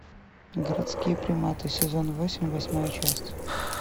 городские приматы сезон восемь восьмая часть